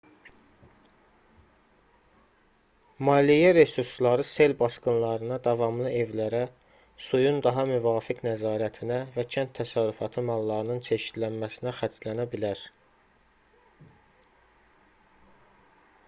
maliyyə resursları sel basqınlarına davamlı evlərə suyun daha müvafiq nəzarətinə və kənd təsərrüfatı mallarının çeşidlənməsinə xərclənə bilər